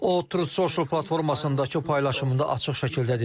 O Truth Social platformasındakı paylaşımında açıq şəkildə dedi: